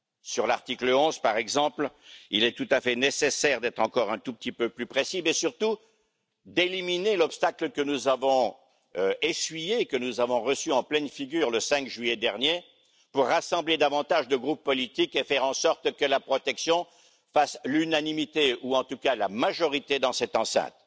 Sur l'article 11 par exemple, il est tout à fait nécessaire d'être encore un tout petit peu plus précis, mais surtout d'éliminer l'obstacle que nous avons reçu en pleine figure le 5 juillet dernier, pour rassembler davantage de groupes politiques et faire en sorte que la protection fasse l'unanimité, ou en tout cas la majorité dans cette enceinte.